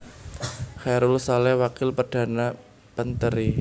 Chaerul Saleh Wakil Perdana Penteri